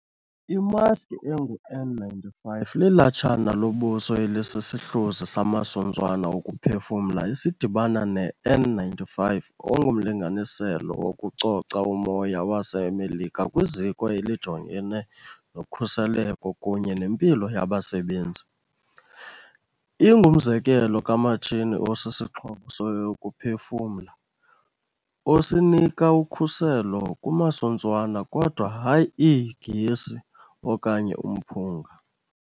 Imaski engu-N95 lilatshana lobuso elisisihluzi samasuntswana okuphefumla esidibana ne-N95 ongumlinganiselo wokucoca umoya wase Melika kwiZiko elijongene noKhuseleko kunye neMpilo yaBasebenzi. Ingumzekelo kamatshini osisixhobo sokuphefumla, osinika ukhuselo kumasuntswana, kodwa hayi iigesi okanye umphunga.